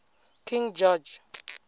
king george